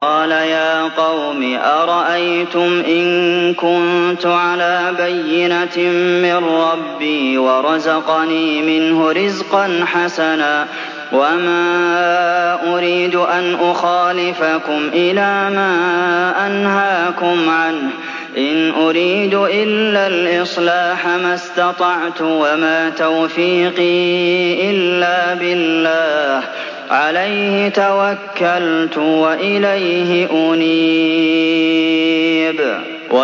قَالَ يَا قَوْمِ أَرَأَيْتُمْ إِن كُنتُ عَلَىٰ بَيِّنَةٍ مِّن رَّبِّي وَرَزَقَنِي مِنْهُ رِزْقًا حَسَنًا ۚ وَمَا أُرِيدُ أَنْ أُخَالِفَكُمْ إِلَىٰ مَا أَنْهَاكُمْ عَنْهُ ۚ إِنْ أُرِيدُ إِلَّا الْإِصْلَاحَ مَا اسْتَطَعْتُ ۚ وَمَا تَوْفِيقِي إِلَّا بِاللَّهِ ۚ عَلَيْهِ تَوَكَّلْتُ وَإِلَيْهِ أُنِيبُ